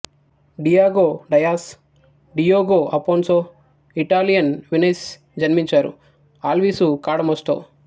Diego Dias Diogo Afonso Italian Venice జన్మించారు Alvise Cadamosto